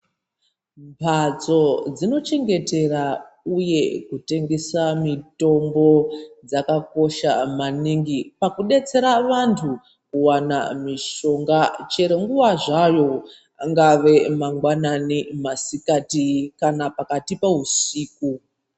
Mhatso dzinochengetera uye kutengesa Mitombo dzakakosha maningi pakudetsera vantu kuwana mushonga chero nguwa zvayo angave mangwanani masikati kana pakati pehusiku.